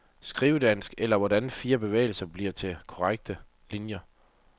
Skrivedans eller hvordan frie bevægelser blir til konkrete linier.